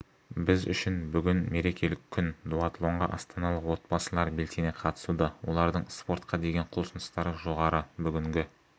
біз үшін бүгін мерекелік күн дуатлонға астаналық отбасылар белсене қатысуда олардың спортқа деген құлшыныстары жоғары бүгінгі